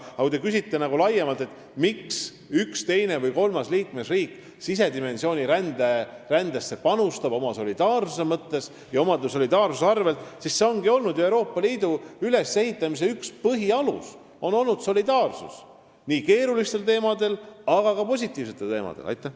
Aga kui te küsite laiemalt, miks üks, teine või kolmas liikmesriik rände sisedimensiooni panustab oma solidaarsuse mõttes ja oma solidaarsuse arvel, siis see ongi ju olnud Euroopa Liidu ülesehitamise üks põhialuseid: on olnud solidaarsus nii keeruliste teemade, aga ka positiivsete teemade puhul.